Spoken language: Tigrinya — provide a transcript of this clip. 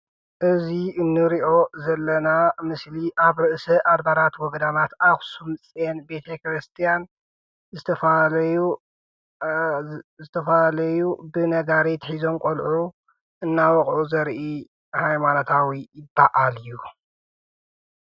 እዚ እንሪኦ ዘለና ምስሊ ኣብ ርእሰ ኣድባራት ወገዳማት ኣክሱም ፅዮን ቤተክርስትያን ዝተፈላለዩ ብነጋሪት ሒዞም ቆልዑ እናወቕዑ ዘርኢ ሃይማኖታዊ በዓል እዩ።